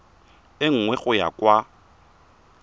e nngwe go ya kwa